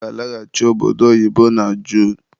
Ọ ga-alaghachi obodo oyibo na Junu